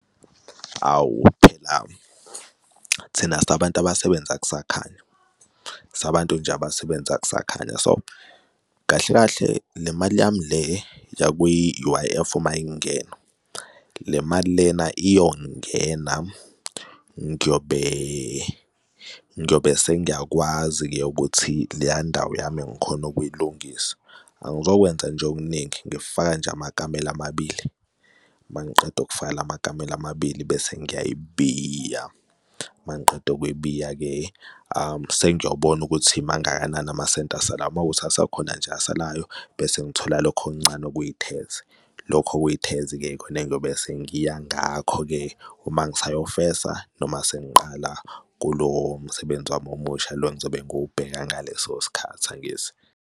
Awu, phela thina sabantu abasebenza kusakhanya, sabantu nje abasebenza kusakhanya so kahle kahle nemali yami le yakwi-U_I_F uma ingena le mali lena iyongena, ngiyobe, ngiyobe sengiyakwazi-ke ukuthi leya ndawo yami engikhona ukuyilungisa. Angizokwenza nje okuningi ngifaka nje amakamela amabili, uma ngiqeda ukufaka la makamela amabili bese ngiyayibiya, uma ngiqeda ukuyibiya-ke sengiyobona ukuthi mangakanani amasenti asalayo. Uma kuwukuthi akhona nje asalayo, bese ngithola lokhu okuncane ukuyi-Tazz lokho kuyi-Tazz-ke ikhona ngiyobe sengiya ngakho-ke, uma ngisayofesa, noma sengiqala kulo msebenzi wami omusha lo ngizobe ngiwubheka ngaleso sikhathi, angithi?